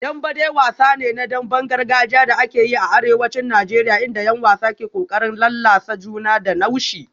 Dembe dai wasa ne na damben gargajiya da ake yi a arewacin Najeriya inda 'yan wasa ke kokarin lallasa juna da naushi